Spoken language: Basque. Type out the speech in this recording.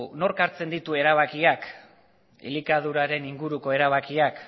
nork hartzen ditu erabakiak elikaduraren inguruko erabakiak